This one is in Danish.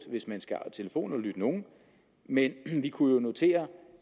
hvis man skal telefonaflytte nogen men vi kunne jo notere